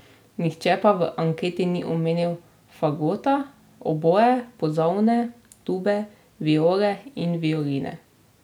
Nihče pa v anketi ni omenil fagota, oboe, pozavne, tube, viole in violine.